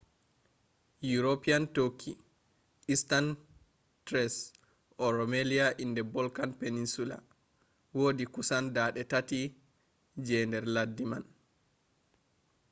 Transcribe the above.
european turkey eastern thrace or rumelia in the balkan peninsula wodi kusan 3% je nder laddi mai